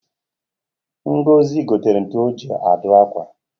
Ngozi gotere ntu o ji adụ akwa